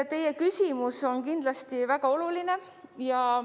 Teie küsimus on kindlasti väga oluline.